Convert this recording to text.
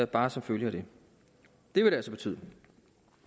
bare som følge af det det vil det altså betyde